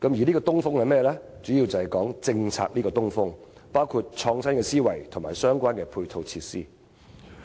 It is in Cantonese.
這個"東風"主要是指政策，包括創新思維和相關配套設施。